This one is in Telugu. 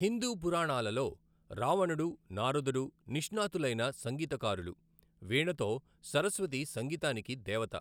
హిందూ పురాణాలలో రావణుడు, నారదుడు నిష్ణాతులైన సంగీతకారులు, వీణతో సరస్వతి సంగీతానికి దేవత.